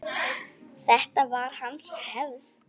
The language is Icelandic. Þetta var hans hefð.